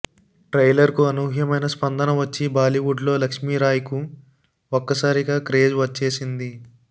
ట్రైలర్కు అనూహ్యమైన స్పందన వచ్చి బాలీవుడ్లో లక్ష్మీరాయ్కు ఒక్కసారిగా క్రేజ్ వచ్చేసింది